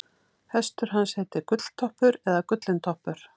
hestur hans heitir gulltoppur eða gullintoppur